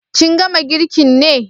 Kin gama girkin ne?